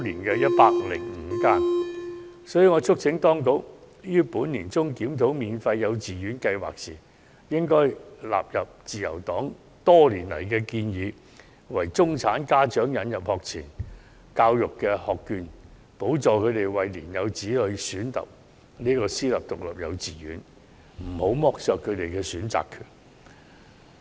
因此，我促請當局於本年年中檢討免費幼稚園計劃時，應納入自由黨多年來的建議，為中產家長引入學前教育學券，資助他們的年幼子女就讀私立獨立幼稚園，不要剝削他們的選擇權。